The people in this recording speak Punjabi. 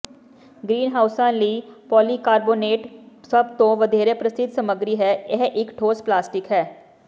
ਗ੍ਰੀਨਹਾਉਸਾਂ ਲਈ ਪੋਲੀਕਾਰਬੋਨੇਟ ਸਭ ਤੋਂ ਵਧੇਰੇ ਪ੍ਰਸਿੱਧ ਸਮੱਗਰੀ ਹੈ ਇਹ ਇਕ ਠੋਸ ਪਲਾਸਟਿਕ ਹੈ